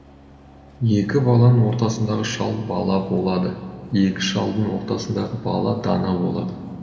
екі баланың ортасындағы шал бала болады екі шалдың ортасындағы бала дана болады